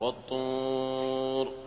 وَالطُّورِ